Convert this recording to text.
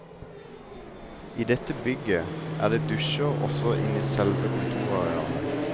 I dette bygget er det dusjer også inne i selve kontorarealet.